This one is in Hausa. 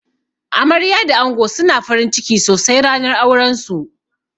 Amarya da ango suna farinciki sosai ranar auran su.